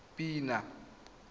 pina